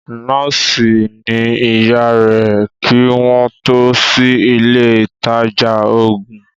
Nọ́ọ̀sì ni ìyá rẹ̀ kí wọ́n tó sí ilé ìtajà ògùn